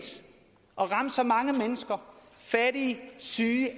at ramme så mange mennesker fattige og syge